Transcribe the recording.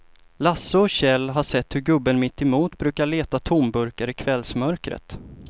Lasse och Kjell har sett hur gubben mittemot brukar leta tomburkar i kvällsmörkret.